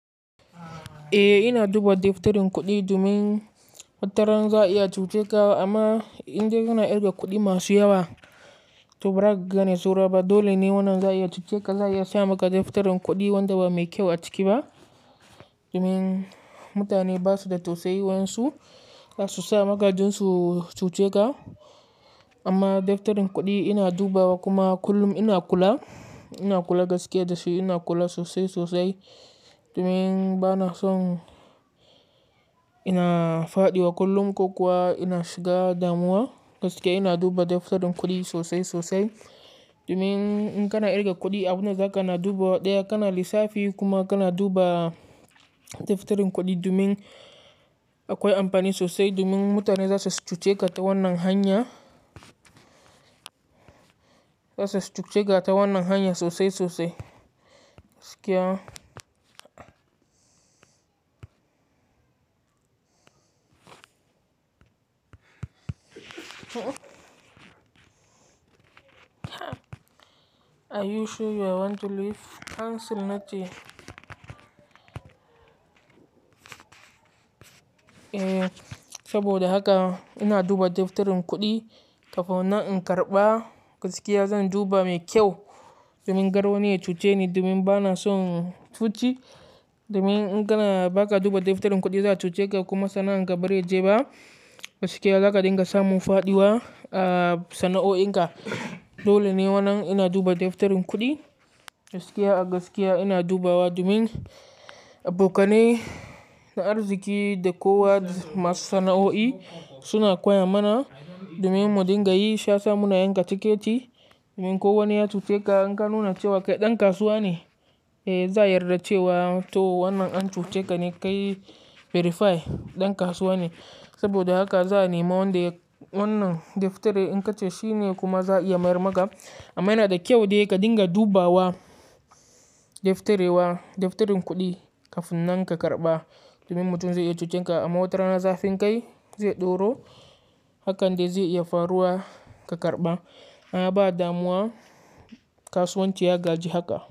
Eh ina duba daftarin kuɗi domin wataran za a iya cuce ka amma in dai kana kirga kuɗi masu yawa, to bara ka gane sauraba. Dole ne wannan za a iya cuce ka, za a iya sa maka daftarin kuɗi wanda ba mai kyau a ciki ba domin mutane ba su da tausayi wayansu, za su sa maka don su cuce ka. Amma daftarin kuɗi ina dubawa kuma kullum ina kula, ina kula gaskiya da shi ina kula sosai sosai domin bana son ina fadiwa kullum ko kuwa ina shiga damuwa gaskiya ina duba daftarin kuɗi sosai sosai. Domin in kana ƙirga kuɗi abun da za ka na duba ɗaya kana lissafi kuma kana duba daftarin kuɗi domin akwai amfani sosai domin mutane za su cuce ka ta wannan hanya, za su so cuce ka ta wannan hanya sosai sosai gaskiya. Are you sure you want to leave? Hansel na ce. Eh saboda haka ina duba daftarin kuɗi kafin nan in karɓa gaskiya zan duba mai kyau domin kar wani ya cuce ni domin bana son cuci. Domin in kana-- baka duba daftarin kudi za'a cuce ka kuma sana'an ka bazai je ba, gaskiya zaka dinga samun faduwa a sana'oin ka dole ne wannan ina duba daftarin kuɗi gaskiya a gaskiya ina dubawa domin abokanai na arziki da kowa masu sana'o'i suna koya mana domin mudingayi shiyasa muna yanka tiketi. Domin ko wani ya cuce ka in ka nuna cewa kai ɗan kasuwa ne, eh za a yarda cewa to wannan an cuce ka ne kai verify, ɗan kasuwa ne. Saboda haka za a nema wannan daftari in ka ce shi ne kuma za a iya marmaka. Amma yana da kyau dai ka dinga dubawa, daftarewa daftarin kuɗi kafin nan ka karɓa domin mutum zai iya cuce ka amma watarana zafin kai zai ɗoro hakan dai zai iya faruwa ka karɓa. A ba damuwa kasuwanci ya gaji haka.